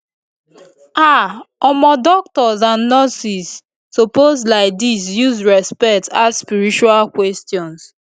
ah omo doctors and nurses suppose laidis use respect ask spiritual questions